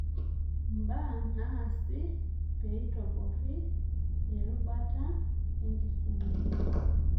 Mbaa naasi peitoborri erubata enkisuma.